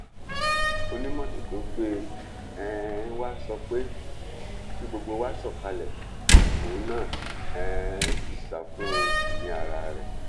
onímọtò tó gbé um wa sọ pé kí gbogbo wa sọkalẹ òun náà um sì sá fún ẹmí ara rẹ